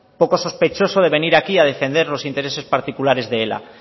poco sospechoso de venir aquí a defender los intereses particulares de ela